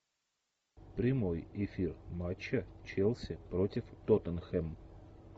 прямой эфир матча челси против тоттенхэм